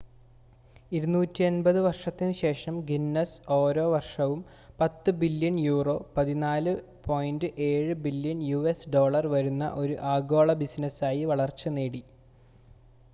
250 വർഷത്തിനുശേഷം ഗിന്നസ് ഓരോ വർഷവും 10 billion euro 14.7 billion US dollar വരുന്ന ഒരു ആഗോള ബിസിനസായി വളർച്ച നേടി